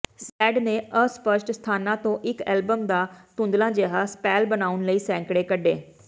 shed ਨੇ ਅਸਪਸ਼ਟ ਸਥਾਨਾਂ ਤੋਂ ਇਕ ਐਲਬਮ ਦਾ ਧੁੰਦਲਾ ਜਿਹਾ ਸਪੈਲ ਬਣਾਉਣ ਲਈ ਸੈਂਕੜੇ ਕੱਢੇ